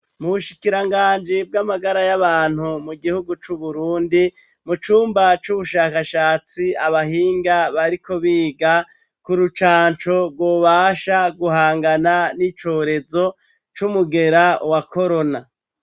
Mu bushikiranganji bw'amagara y'abantu mu gihugu c'Uburundi mu cumba c'ubushakashatsi abahinga bariko biga ku rucanco rwobasha guhangana n'icorezo c'umugera wa korona.